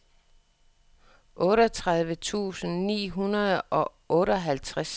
otteogtredive tusind ni hundrede og otteoghalvtreds